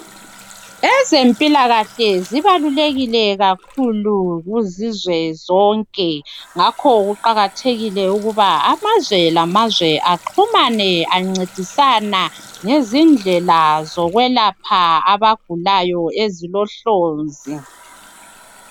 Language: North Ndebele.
Ezempilakahle zibalulekile kakhulu kuzizwe zonke ngakho kuqakathekile ukuba amazwe lamazwe axhumane encedisana ngezindlela zokwelapha abagulayo ezilohlonzi.